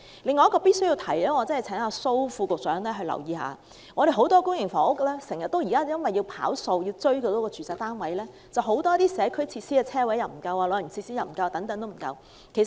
另外，我必須請蘇副局長留意，有很多公營房屋因為要"跑數"，住宅單位數量要達標，導致社區設施、泊車位、長者設施等不足。